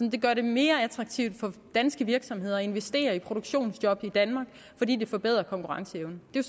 det gør det mere attraktivt for danske virksomheder at investere i produktionsjob i danmark fordi det forbedrer konkurrenceevnen det er